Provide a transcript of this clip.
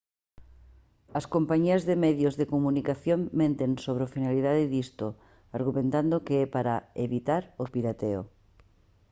as compañías de medios de comunicación menten sobre a finalidade disto argumentando que é para «evitar o pirateo»